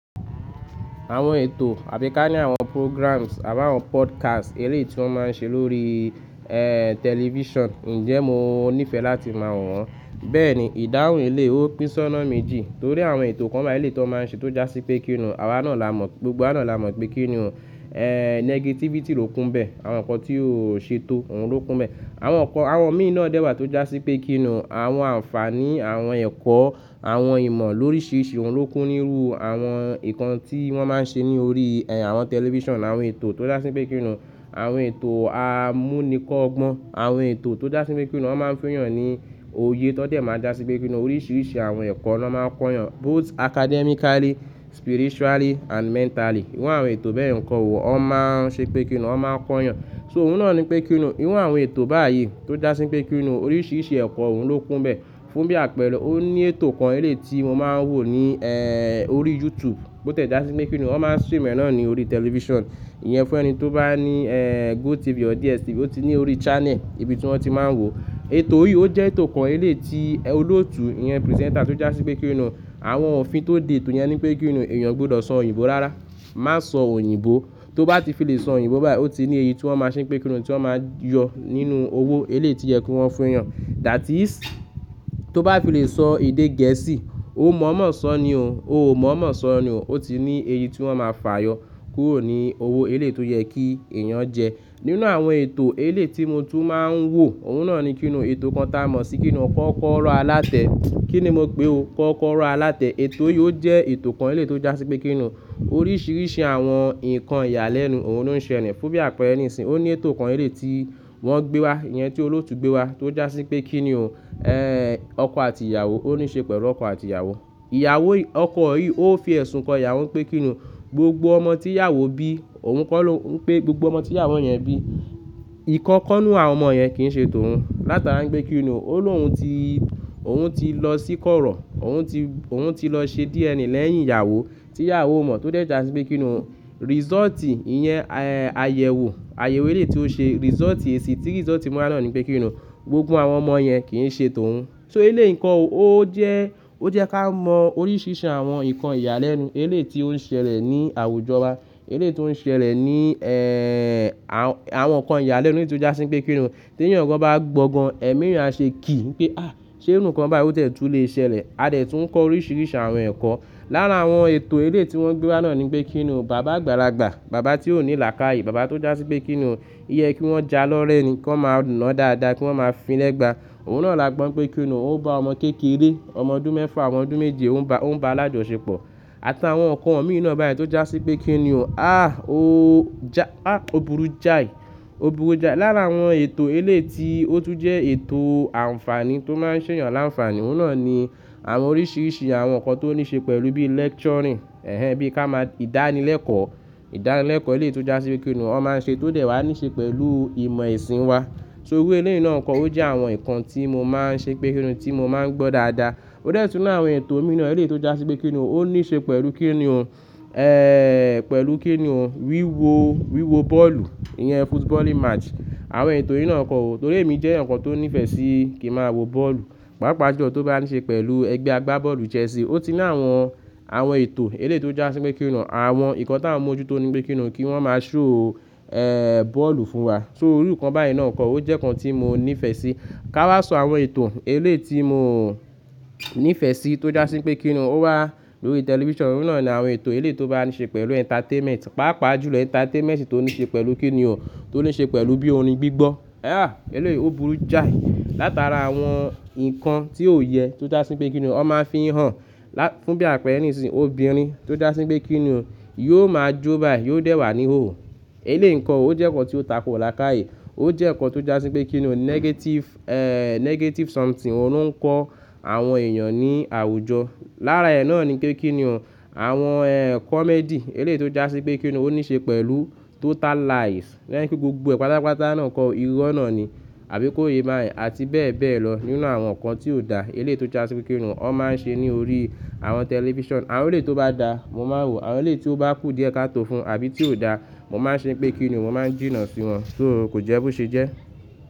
Àwọn ètò àbí ká ní àwọn programs àbá àwọn podcasts eléyi tí wọ́n máa ń ṣe lórí, television, ǹjẹ́ mo níìfẹ̀ láti mọ̀ wọ́n? Bẹ́ẹ̀ ni, ìdáhùn ilé ó pínṣọná méjì torí àwọn ètò kan báyìí lẹ́tí wọ́n máa ń ṣe tó jásí pé kí ni, àwa náà la mọ̀, gbogbo wa náà la mọ̀ pé kí ni o, negativity ló kun bẹ́ẹ̀, àwọn nǹkan tí ó ṣe tó òun ló kun bẹ́ẹ̀. Àwọn nǹkan, àwọn míì náà dẹ́wàá tó jásí pé kí ni, àwọn àǹfààní, àwọn ẹ̀kọ́, àwọn ìmọ̀ lóríṣiríṣi òun ló kún níru àwọn ǹkan tí wọ́n máa ń ṣe ní orí, àwọn television àwọn ètò tó jásí pé kí ni. Àwọn ètò amúnikọ́ ọgbọn, àwọn ètò tó jásí pé kí ni wọ́n máa ń fìyàn ní òye tó dẹ̀ máa jásí pé kí ni oríṣiríṣi àwọn ẹ̀kọ́ ni wọ́n máa ń kọ́ yàn. Both academically, spiritually and mentally. Irú àwọn ètò bẹ́yẹn nkọ́ ò, wọ́n máa ń ṣe pé kí ni, wọ́n máa ń kọ́ yàn. So òun náà ni pé kí ni, irú àwọn ètò báyìí tó jásí pé kí ni oríṣiríṣi ẹ̀kọ́ òun ló kun bẹ́ẹ̀. Fún bí àpẹẹrẹ, ó ní ètò kan eléyi tí mo máa ń wò ní, orí YouTube bó tẹ̀ jásí pé kí ni wọ́n máa ń stream rẹ̀ náà ní orí television. Iyẹn fún ẹni tó bá ní, GoTv or DStv ó ti ní orí channel ibi tí wọ́n ti máa ń wò. Ètò yìí ó jẹ́ ètò kan eléyi tí olóòtú, iyẹn presenter tó jásí pé kí ni, àwọn òfin tó de ètò yẹn ni pé kí ni èèyàn gbọdọ̀ sọ òyìnbó rárá. Má sọ òyìnbó. Tó bá ti fi lè sọ òyìnbó báyìí ó ti ní èyí tí wọ́n máa ṣe pé kí ni tí wọ́n máa yọ nínú owó eléyi tí yẹ kó wọn fi hàn. That is, tó bá fi lè sọ èdè gẹ̀ẹ́sì, ómọ̀ọ́mọ̀ sọ ni o, o mọ̀ọ́mọ̀ sọ ni o. Ó ti ní èyí tí wọ́n máa fà yọ kúrò ní owó eléyi tó yẹ kí èèyàn jẹ. Nínú àwọn ètò eléyi tí mo tún máa ń wò, òun náà ni kí ni ètò kan tá a mọ̀ sí kí ni ọkọ kọ́rọ̀ alátẹ. Kí ni mo pe o? Kọ́kọ́rọ́ alátẹ. Ètò yìí ó jẹ́ ètò kan eléyi tó jásí pé kí ni oríṣiríṣi àwọn ǹkan ìyàlẹ́nu òun ló ń ṣẹlẹ̀. Fún bí àpẹẹrẹ ní ìsìn, ó ní ètò kan eléyi tí wọ́n gbé wá, iyẹn tí olóòtú gbé wá tó jásí pé kí ni o, ọkọ àti ìyàwó ó ní ṣe pẹ̀lú ọkọ àti ìyàwó. Ìyàwó, ọkọ yìí ó fi ẹ̀sùn kan ìyàwó pé kí ni gbogbo ọmọ tí ìyàwó bí, òun kọ́ ló ń pé gbogbo ọmọ tí ìyàwó yẹn bí. Ìkan kan nínú àwọn ọmọ yẹn kì í ṣe tòun. Látara pé kí ni òun lóhun ti, òun ti lọ sí kọ́rọ̀, òun ti, òun ti lọ ṣe DNA lẹ́yìn ìyàwó tí ìyàwó o mọ̀ tó dẹ̀ jásí pé kí ni o. Result ìyẹn, àyẹ̀wò, àyẹ̀wò eléyi tí ó ṣe result èsì tí result mú nani pé kí ni ò. Gbogbo àwọn ọmọ yẹn kì í ṣe tòun. So eléyi nkọ́ òó jẹ́, ó jẹ́ ká mọ oríṣiríṣi àwọn ǹkan ìyàlẹ́nu eléyi tí ó ń ṣẹlẹ̀ ní àwùjọ wa. Eléyi tí ó ń ṣẹlẹ̀ ní, àwọn, àwọn ǹkan ìyàlẹ́nu nítorí tó jásí pé kí ni. Tí ẹ̀yà gan bá gbọ́ gan, ẹ̀mí ìyẹn á ṣe kì í pé àh! Ṣé irú nǹkan báyìí ó tẹ̀ tú le ṣẹlẹ̀? A dẹ̀ tún kọ oríṣiríṣi àwọn ẹ̀kọ́. Lára àwọn ètò eléyi tí wọ́n gbé wá náà ni pé kí ni bàbá àgbàlagbà, bàbá tí ò ní làákàyè, bàbá tó jásí pé kí ni óyẹ kí wọ́n ja lọ́rẹ́ ni, kó máa ná dáadáa kí wọ́n máa fín lẹ́gba. Òun náà la gbọ́n pé kí ni òun ó bá ọmọ kékeré, ọmọ ọdún mẹ́fà, ọmọ ọdún méje òun bá, òun bá alájọṣepọ̀. Àti àwọn ǹkan ọ̀wọ́ mìí na báyìí tó jásí pé kí ni o, ah! O ja, ah! Ó burú jáì, ó burú jáì. Lára àwọn ètò eléyi tí ó tún jẹ́ ètò àǹfààní tó máa ń ṣe ìyàn láǹfààní, òun náà ni àwọn oríṣiríṣi àwọn ǹkan tó ní ṣe pẹ̀lú bí lecturing, ẹhẹ́n, bí ká máa, ìdánilẹ́kọ̀ọ́, ìdánilẹ́kọ̀ọ́ elé tó jásí pé kí ni wọ́n máa ń ṣe tó dẹ̀ wá ní ṣe pẹ̀lú ìmọ̀ ẹ̀sìn wa. So irú elé nǹkan wọ́n kọ́ ó jẹ́ àwọn ǹkan tí mo máa ń ṣe pé kí ni tí mo máa ń gbọ́ dáadáa. Ó dẹ̀ tún ní àwọn ètò mìí na eléyi tó jásí pé kí ni ó ní ṣe pẹ̀lú kí ni o, eeh, pẹ̀lú kí ni o wíwo, wíwo bọ́ọ̀lù, iyẹn footballing match. Àwọn ètò yi ná nkọ́ ò, torí èmi jẹ́ ẹyakan tó nífẹ̀ẹ́ sí kí ma wo bọ́ọ̀lù. Páápàá jù lọ tó bá ní ṣe pẹ̀lú ẹgbẹ́ agbábọ́ọ̀lù Chelsea. Ó ti ní àwọn, àwọn ètò eléyi tó jásí pé kí ni àwọn ǹkan tá a mọ̀ ojú tó ni pé kí ni kí wọ́n máa show, bọ́ọ̀lù fún wa. So irú nǹkan báyìí náà kọ́ ó jẹ́ ǹkan tí mo nífẹ̀ẹ́ sí. Ka wá sọ àwọn ètò elé tí mo nífẹ̀ẹ́ sí tó jásí pé kí ni ó wà lórí television òun náà ni àwọn ètò elé tó bá ní ṣe pẹ̀lú entertainment. Páápàá jù lọ entertainment tó ní ṣe pẹ̀lú kí ni o tó ní ṣe pẹ̀lú bí orin gbígbọ́. Ah! Eléyi ó burú jáì. Látara àwọn ǹkan tí ó yẹ tó jásí pé kí ni ó máa fihàn lá-- fún bí àpẹẹrẹ ní ìsìn, obìnrin tó jásí pé kí ni yóò máa jó báyìí, yóò dẹ̀ wà níhòho. Eléyi ǹkọ́ o o jẹ́ ǹkan tí ó tako làákàyè. Ó jẹ́ ǹkan tó jásí pé kí ni negative, negative something òun ń kọ àwọn èèyàn ní àwùjọ. Lára ẹ̀ náà ni pé kí ni o àwọn, comedy eléyi tó jásí pé kí ni ó ní ṣe pẹ̀lú total lies. Tó jẹ́ pé gbogbo ẹ̀ pátápátá náà kọ́, irú ná ni, àbí kó ye báyẹn àti bẹ́ẹ̀ bẹ́ẹ̀ lọ. Nínú àwọn ǹkan tí ó da eléyi tó jásí pé kí ni wọ́n máa ń ṣe ní orí àwọn television. Àwọn eléyi tó bá da mo máa wò, àwọn eléyi tí ó bá kù díẹ̀ ká tó fún àbí tí ó da, mo máa ṣe pé kí ni mo máa jìnnà sí wọn. So kò jẹ́ bó ṣé jẹ́.